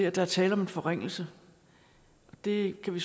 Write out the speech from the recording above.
at der er tale om en forringelse det kan vi